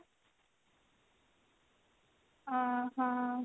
ଓଃ ହୋ